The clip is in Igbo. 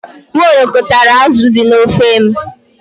Nwaologbo tara azụ dị n'ofe m.